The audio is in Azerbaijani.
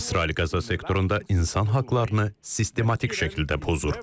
İsrail Qəzza sektorunda insan haqlarını sistematik şəkildə pozur.